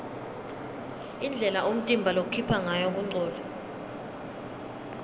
indlela umtimba lokhipha ngayo kungcola